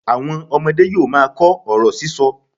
Àwọn ọmọdé yóò máa kọ ọ̀rọ̀ sísọ.